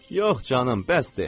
Yox canım, bəsdir.